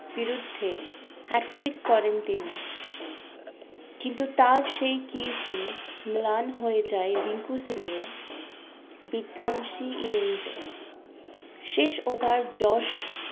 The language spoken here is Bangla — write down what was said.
বিরুদ্ধে hat-trick করেন তিনি কিন্তু তার সেই কীর্তি ম্লান হয়ে যায় রিঙ্কু সিং এর বিধ্বংসী innings এ শেষ ওভার জস